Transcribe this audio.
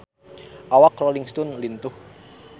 Awak Rolling Stone lintuh